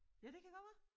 Ja det kan godt være